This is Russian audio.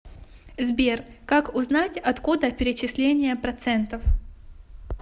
сбер как узнать откуда перечисления процентов